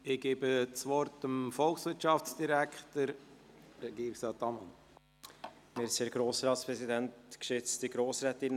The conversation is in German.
Ich gebe das Wort dem Volkswirtschaftsdirektor, Regierungsrat Ammann.